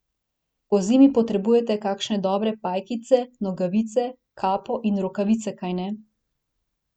Pozimi potrebujete kakšne dobre pajkice, nogavice, kapo in rokavice, kajne?